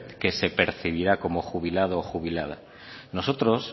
que se percibirá como jubilado o jubilada nosotros